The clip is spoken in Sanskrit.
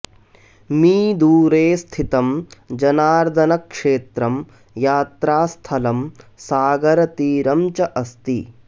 मी दूरे स्थितं जनार्दनक्षेत्रं यात्रास्थलं सागरतीरं च अस्ति